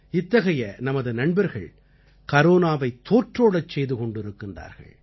இத்தகைய நமது நண்பர்கள் கரோனாவைத் தோற்றோடச் செய்து கொண்டிருக்கிறார்கள்